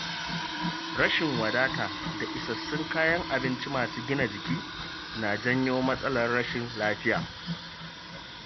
Rashin wadata da isassun kayan abinci masu gina jiki na janyo matsalar rashin lafiya.